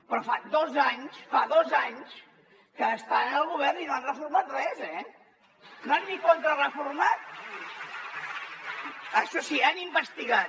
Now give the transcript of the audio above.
però fa dos anys fa dos anys que estan al govern i no han reformat res eh no han ni contrareformat això sí han investigat